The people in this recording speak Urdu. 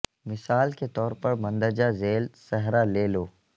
مثال کے طور پر مندرجہ ذیل صحرا لے لو